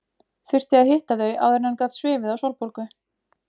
Þurfti að hitta þau áður en hann gat svifið á Sólborgu.